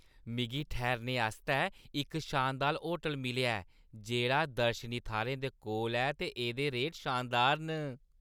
मिगी ठैह्‌रने आस्तै इक शानदार होटल मिलेआ ऐ जेह्ड़ा दर्शनी थाह्‌रें दे कोल ऐ ते एह्दे रेट शानदार न।